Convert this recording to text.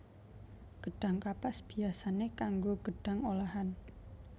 Gedhang kapas biyasané kanggo gedhang olahan